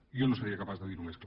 jo no seria capaç de dir ho més clar